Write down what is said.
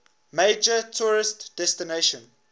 major tourist destination